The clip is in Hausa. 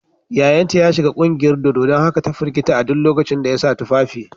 Yayanta ya shiga kungiyar dodo don haka ta firgita a duk lokacin da ya sa tufafi.